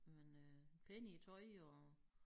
Men øh pæne i æ tøj og